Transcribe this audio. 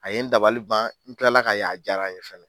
A ye n dabali ban, n tila la k'a ye a ye n dabali ban.